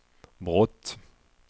brott